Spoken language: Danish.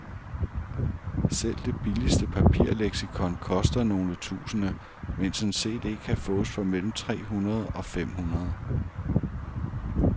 Selv det billigste papirleksikon koster nogle tusinde, mens en cd kan fås for mellem tre hundrede og fem hundrede.